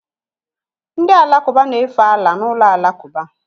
Ndị Alakụba na-efe Allah n'ụlọ alakụba